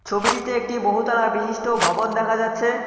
ছবিটিতে একটি বহুতলা বিশিষ্ট ভবন দেখা যাচ্ছে।